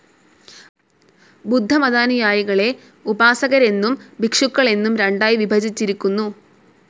ബുദ്ധമതാനുയായികളെ ഉപാസകരെന്നും ഭിക്ഷുക്കളെന്നും രണ്ടായി വിഭജിച്ചിരിക്കുന്നു.